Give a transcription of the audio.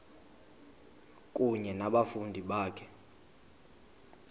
kunye nabafundi bakho